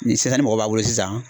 Ni sisan ni mɔgɔ b'a bolo sisan